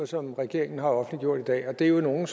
som regeringen har offentliggjort i dag og det er jo nogle